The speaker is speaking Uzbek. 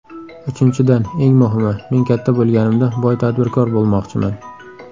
Uchinchidan, eng muhimi: Men katta bo‘lganimda boy tadbirkor bo‘lmoqchiman.